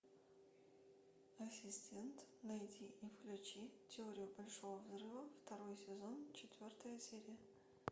ассистент найди и включи теорию большого взрыва второй сезон четвертая серия